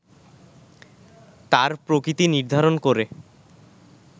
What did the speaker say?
তার প্রকৃতি নির্ধারণ করে